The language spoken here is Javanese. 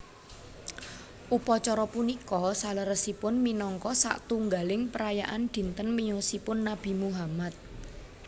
Upacara punika saleresipun minangka satunggaling perayaan dinten miyosipun Nabi Muhammad